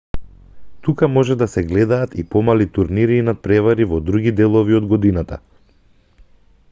тука може да се гледаат и помали турнири и натпревари во други делови од годината